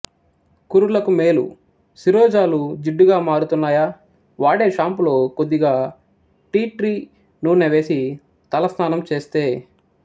కురులకు మేలు శిరోజాలు జిడ్డుగా మారుతున్నాయా వాడే షాంపూలో కొద్దిగా టీ ట్రీ నూనె వేసి తలస్నానం చేస్తే